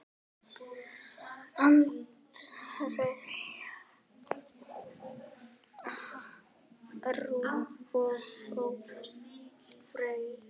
Andrea Rún og Ólöf Freyja.